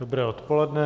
Dobré odpoledne.